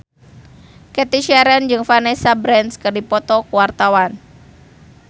Cathy Sharon jeung Vanessa Branch keur dipoto ku wartawan